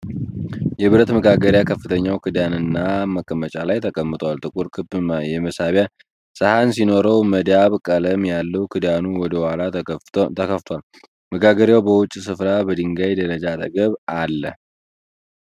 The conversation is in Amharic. የብረት መጋገሪያ ከፍተኛው ክዳንና መቀመጫ ላይ ተቀምጧል። ጥቁር ክብ የማብሰያ ሰሃን ሲኖረው መዳብ ቀለም ያለው ክዳኑ ወደ ኋላ ተከፍቷል። መጋገሪያው በውጪ ስፍራ በድንጋይ ደረጃ አጠገብ አለ።